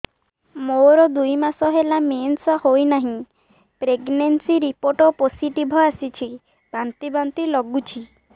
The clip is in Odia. ମୋର ଦୁଇ ମାସ ହେଲା ମେନ୍ସେସ ହୋଇନାହିଁ ପ୍ରେଗନେନସି ରିପୋର୍ଟ ପୋସିଟିଭ ଆସିଛି ବାନ୍ତି ବାନ୍ତି ଲଗୁଛି